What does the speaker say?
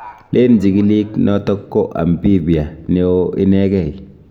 Leen chikilik noto ko amphibia neoo inegei